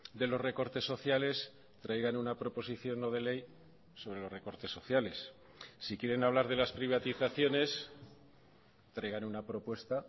de los recortes sociales traigan una proposición no de ley sobre los recortes sociales si quieren hablar de las privatizaciones traigan una propuesta